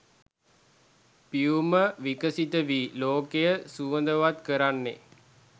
පියුම විකසිත වී ලෝකය සුවඳවත් කරන්නේ